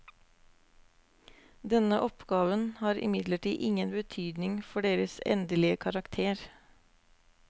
Denne oppgaven har imidlertid ingen betydning for deres endelige karakter.